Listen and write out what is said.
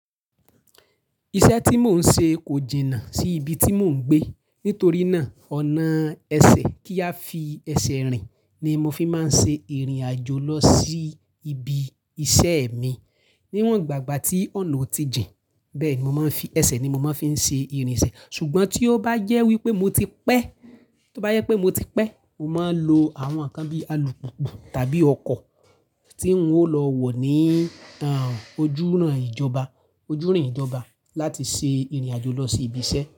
Iṣẹ́ tí mò ń ṣe kò jìnnà sí ibi tí mò ń gbé. Nítorí náà, ọ̀nà ẹsẹ̀ kí a fi ẹsẹ̀ rìn ni mo fi máa ń ṣe ìrìnàjò lọ sí ibi iṣẹ́ mi. Níwọ̀n gbàgbà tí ọ̀nà ò tí jìn, bẹ́ẹ̀ mo máa ń fi ẹsẹ̀ ni mo máa ń fi ṣe ìrìnsẹ̀. Ṣùgbọ́n tí ó bá jẹ́ wípé mo ti pẹ́, tí ó bá yẹ pé mo ti pẹ́, mo máa ń lo àwọn ǹkan bí alùpùpù tàbí ọkọ̀ tí ń ó lọ wọ̀ ní, à, ojúrun ìjọba, ojúrin ìjọba láti ṣe ìrìnàjò lọ sí ibi iṣẹ́